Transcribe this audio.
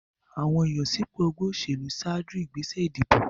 Àwọn ìyànsípò ẹgbẹ́ òṣèlú ṣáájú ìgbésẹ̀ ìdìbò.